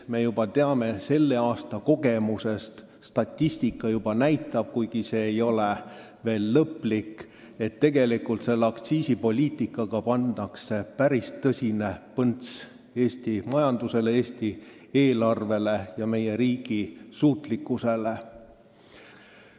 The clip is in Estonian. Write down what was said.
Me teame selle aasta kogemusest – statistika juba näitab seda, kuigi ei ole veel lõplik –, et tegelikult pannakse aktsiisipoliitikaga päris kõva põnts Eesti majandusele, Eesti eelarvele ja meie riigi suutlikkusele.